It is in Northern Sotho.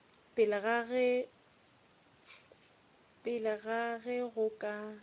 pele ga ge go ka